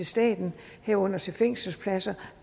staten herunder til fængselspladser